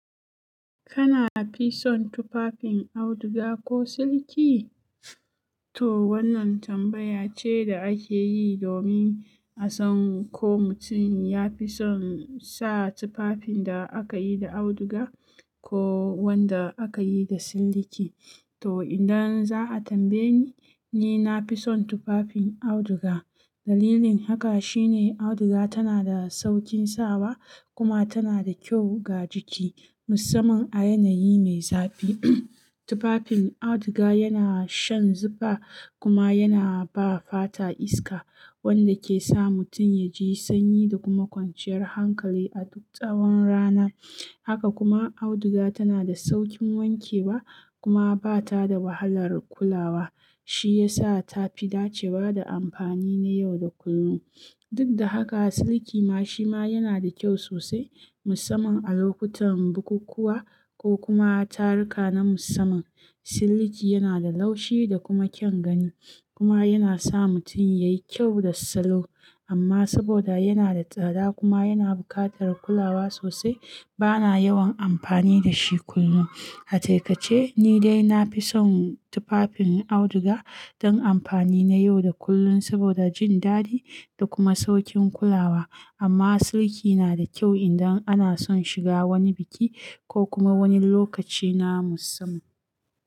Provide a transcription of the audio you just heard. Kana fison tufafin auduga ko siliki? To wannan tambaya ce da ake yi domin a san ko mutum ya fi son sa tufafin da aka yi da auduga ko wanda aka yi da silliki. To idan za a tambaye ni, ni na fi son tufafin auduga. Dalilin haka shine auduga tana da saukin sawa kuma tana da kyau ga jiki, musamman a yanayi mai zafi. Tufafin auduga yana shan zufa kuma yana ba fata iska, wanda ke sa mutum ya ji sanyi da kuma kwanciyar hankali a duk tsawon rana. Haka kuma auduga tana da saukin wanke wa kuma ba ta da wahalar kulawa, shi ya sa ta fi dace wa da amfani na yau da kullum. Duk da haka, siliki ma shi ma yana da kyau sosai musamman a lokutan bukukuwa ko kuma taruka na musamman. Silliki yana da laushi da kuma kyan gani kuma yana sa mutum ya yi kyau da salo. Amma saboda yana da tsada kuma yana buƙatar kulawa sosai, ba na yawan amfani da shi kullum. A takaice, ni dai na fi son tufafin auduga don amfani na yau da kullun saboda jin dadi da kuma saukin kulawa. Amma siliki na da kyau indan ana son shiga wani biki ko kuma wani lokaci na musamman.